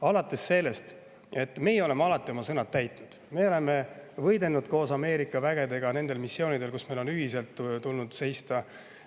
Me oleme alati oma täitnud, me oleme võidelnud koos Ameerika vägedega missioonidel, kus meil on ühiselt tulnud seista.